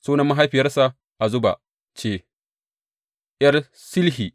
Sunan mahaifiyarsa Azuba ce, ’yar Shilhi.